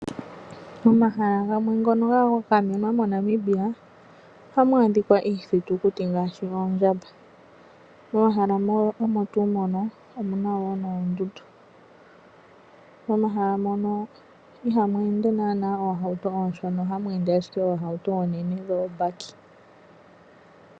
Momahala gamwe ngono ga gamenwa moNamibia , ohamu adhika iithitukuti ngaashi oondjamba . Momahala mono omuna wo noondundu . Momahala mono ihamu ende naanaa oohauto oonshona , ohamu ende ashike oohauto oonene dhoobaki.